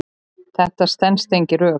Þetta stenst engin rök.